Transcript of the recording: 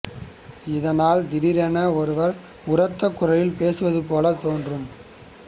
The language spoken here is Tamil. இதனால் திடீரென்று ஒருவர் உரத்த குரலில் பேசுவது போலத் தோன்றும்